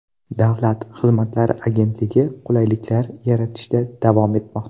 Davlat xizmatlari agentligi qulayliklar yaratishda davom etmoqda.